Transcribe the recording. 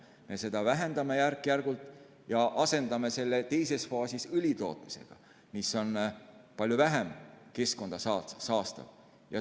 Me vähendame seda järk-järgult ja asendame selle teises faasis õlitootmisega, mis on palju vähem keskkonda saastav.